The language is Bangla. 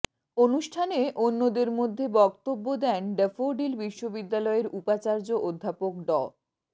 অনুষ্ঠানে অন্যদের মধ্যে বক্তব্য দেন ড্যাফোডিল বিশ্ববিদ্যালয়ের উপাচার্য অধ্যাপক ড